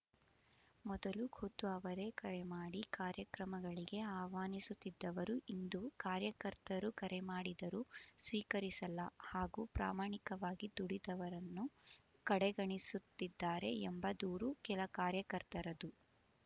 ಮೊದಲು ಖುದ್ದು ಅವರೆಕರೆ ಮಾಡಿ ಕಾರ್ಯಕ್ರಮಗಳಿಗೆ ಆಹ್ವಾನಿಸುತ್ತಿದವರು ಇಂದು ಕಾರ್ಯಕರ್ತರು ಕರೆ ಮಾಡಿದರೂ ಸ್ವೀಕರಿಸಲ್ಲ ಹಾಗೂ ಪ್ರಮಾಣಿಕವಾಗಿ ದುಡಿದವರನ್ನುಕಡೆ ಗಣಿಸುತ್ತಿದ್ದಾರೆ ಎಂಬ ದೂರು ಕೆಲ ಕಾರ್ಯಕರ್ತರದು